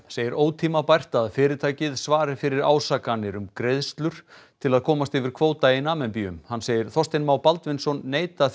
segir ótímabært að fyrirtækið svari fyrir ásakanir um greiðslur til að komast yfir kvóta í Namibíu hann segir Þorstein Má Baldvinsson neita